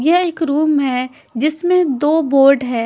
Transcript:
यह एक रूम है जिसमें दो बोर्ड है।